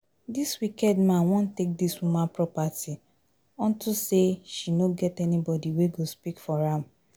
Dis wicked man wan take dis woman property unto say she no get anybody wey go speak for am